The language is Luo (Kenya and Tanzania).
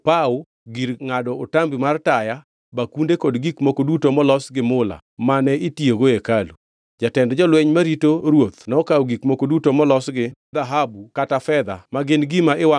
Bende negikawo agulni, opawo, gir ngʼado otambi mar taya, bakunde kod gik moko duto molos gi mula mane itiyogo e hekalu.